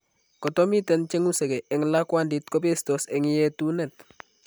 Koto miten cheng'usekee eng' lakwandit kobetos eng' yeetunet